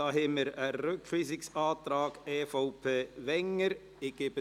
Es liegt den Rückweisungsantrag EVP/Wenger vor.